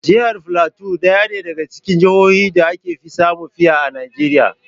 Jihar filato na ɗaya daga cikin jahohin da aka fi samun fiya a Najeriya.